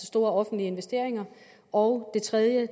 store offentlige investeringer og det tredje